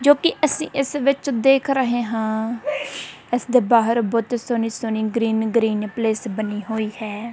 ਜੋ ਕਿ ਅਸੀਂ ਇਸ ਵਿੱਚ ਦੇਖ ਰਹੇ ਹਾਂ ਇਸ ਦੇ ਬਾਹਰ ਬਹੁਤ ਸੋਹਣੀ ਸੋਹਣੀ ਗ੍ਰੀਨ ਗ੍ਰੀਨ ਪਲੇਸ ਬਣੀ ਹੋਈ ਹੈ।